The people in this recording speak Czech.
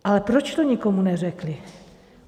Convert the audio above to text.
Ale proč to nikomu neřekli?